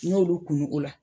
N'olu kunun o la